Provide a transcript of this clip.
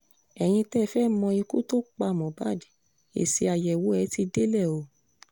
ẹ̀yin tẹ́ẹ fẹ́ẹ́ mọ ikú tó pa mohbad èsì àyẹ̀wò ẹ̀ ti délé o